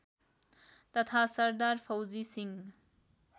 तथा सरदार फौजी सिंह